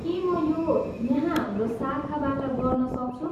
के म यो यहाँ हाम्रो शाखाबाट गर्नसक्छु?